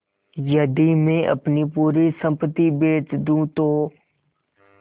यदि मैं अपनी पूरी सम्पति बेच दूँ तो